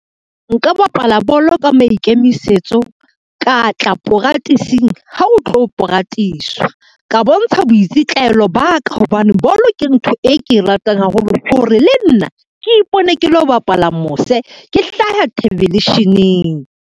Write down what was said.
Nka bapala bolo ka maikemisetso, ka tla poratising, ha o tlo poratiswa, ka bontsha boitsitlaelo ba ka hobane bolo ke ntho e ke e ratang haholo, hore le nna ke ipone ke lo bapala mose, ke hlaha thebelesheneng.